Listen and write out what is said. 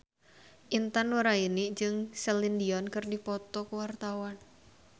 Intan Nuraini jeung Celine Dion keur dipoto ku wartawan